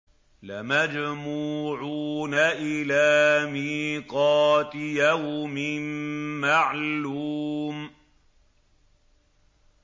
لَمَجْمُوعُونَ إِلَىٰ مِيقَاتِ يَوْمٍ مَّعْلُومٍ